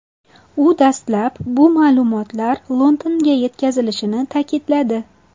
U dastlab bu ma’lumotlar Londonga yetkazilishini ta’kidladi.